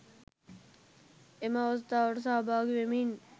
එම අවස්ථාවට සහභාගි වෙමින්